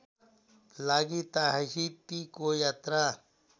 लागि ताहितिको यात्रा